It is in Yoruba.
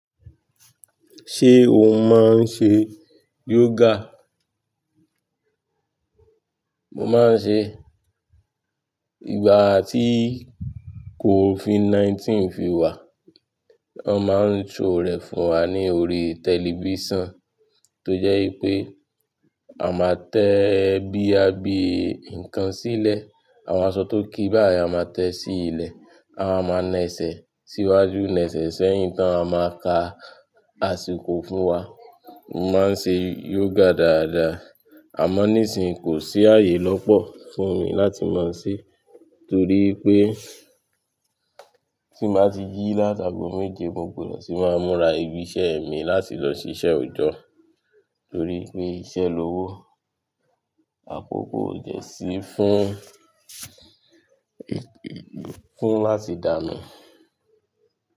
Ṣé o máa ń ṣe yoga? Mo máa ń ṣe. Ìgbà tí COVID-19 fi wà, won máa ń show rẹ̀ fún wa ní orí tẹlifísàn. Tó jẹ́ wipé a máa tẹ boya bi ǹkan sílẹ̀, àwọn aṣọ tó kí báyìí a máa tẹ sí ilẹ̀. A wa máa na ẹsẹ̀ síwájú, na ẹsẹ̀ sẹ́yìn tán ma máa ka àsìkò fún wa. Mo máa ń ṣe yoga dáadáa. Àmọ́ nísìnyí kò sí ààyè lọ́pọ̀ fún mi láti máa se, torí pé tí n ba ti ji láti ago méje mo gbọdọ̀ tì máa múra ibi iṣẹ́ mi láti lọ ṣiṣẹ́ òjọ́. Torí pé iṣẹ́ lowo, àkókò ò dẹ́ sí fún, fún láti dà nu.